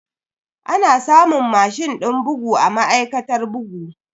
Ana samun mashin din bugu a ma'aikatar bugu.